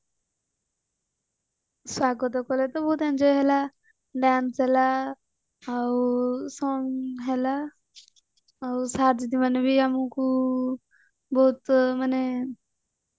ସ୍ଵାଗତ କଲେ ତ ବହୁତ enjoy ହେଲା dance ହେଲା ଆଉ song ହେଲା ଆଉ sir ଦିଦି ମାନେ ବି ଆମକୁ ମାନେ ବହୁତ ମାନେ